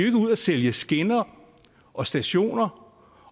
ikke ud og sælge skinner og stationer